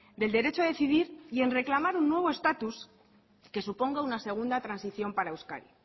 del derecho a decidir y en reclamar un nuevo estatus que suponga una segunda transición para euskadi